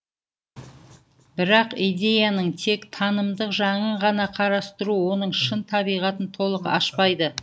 бірақ идеяның тек танымдық жағын ғана қарастыру оның шын табиғатын толық ашпайды